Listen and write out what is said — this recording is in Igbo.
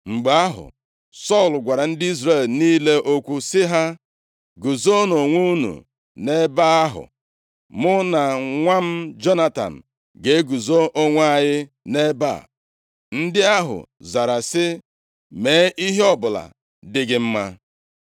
Mgbe ahụ, Sọl gwara ndị Izrel niile okwu sị ha, “Guzonụ onwe unu nʼebe ahụ, mụ na nwa m Jonatan ga-eguzo onwe anyị nʼebe a.” Ndị ahụ zara sị, “Mee ihe ọbụla dị gị mma.”